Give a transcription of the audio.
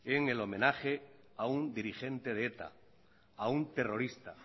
en el homenaje a un dirigente de eta a un terrorista